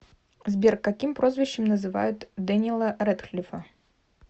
сбер каким прозвищем называют дэниела рэдклифа